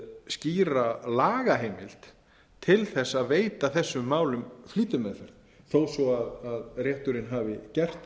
skýra lagaheimild til að veita þessum málum flýtimeðferð þó svo rétturinn hafi gert það